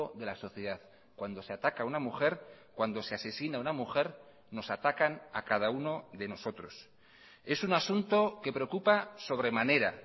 de la sociedad cuando se ataca a una mujer cuando se asesina a una mujer nos atacan a cada uno de nosotros es un asunto que preocupa sobremanera